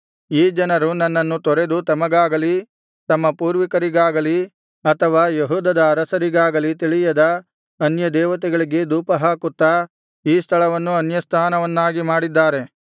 ಈ ಜನರು ನನ್ನನ್ನು ತೊರೆದು ತಮಗಾಗಲಿ ತಮ್ಮ ಪೂರ್ವಿಕರಿಗಾಗಲಿ ಅಥವಾ ಯೆಹೂದದ ಅರಸರಿಗಾಗಲಿ ತಿಳಿಯದ ಅನ್ಯದೇವತೆಗಳಿಗೆ ಧೂಪಹಾಕುತ್ತಾ ಈ ಸ್ಥಳವನ್ನು ಅನ್ಯಸ್ಥಾನವನ್ನಾಗಿ ಮಾಡಿದ್ದಾರೆ